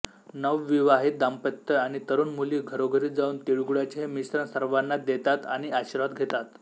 नवविवाहित दाम्पत्य आणि तरुण मुली घरोघरी जावून तिळगुळाचे हे मिश्रण सर्वाँना देतात आणि आशीर्वाद घेतात